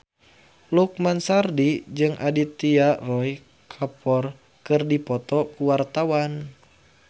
Lukman Sardi jeung Aditya Roy Kapoor keur dipoto ku wartawan